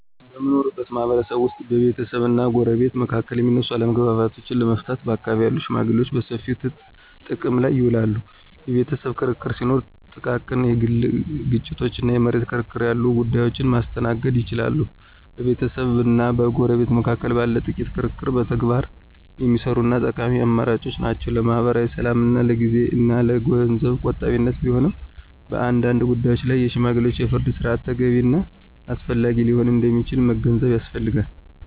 በምንኖርበት ማህበረሰብ ውስጥ ቤተሰብና ጎረቤት መካከል የሚነሱ አለመግባባቶችን ለመፍታት በአካባቢው ያሉ ሽመግሌዎችን በሰፊው ጥቅም ላይ ይውላሉ። የቤተሰብ ክርክር ሲኖር፣ ጥቃቅን የግል ግጭቶች እና የመሬት ክርክር ያሉ ጉዳዮችን ማስተናገድ ይችላሉ። በቤተሰብና በጎረቤት መካከል ባለ ጥቂት ክርክር በተግባር የሚሰሩ እና ጠቃሚ አማራጮች ናቸው። ለማኅበራዊ ሰላምና ለጊዜ እና ለገንዘብ ቆጣቢነት ቢሆንም፣ በአንዳንድ ጉዳዮች ላይ የሽማግሌዎች የፍርድ ሥርዓት ተገቢ እና አስፈላጊ ሊሆን እንደሚችል መገንዘብ ያስፈልጋል።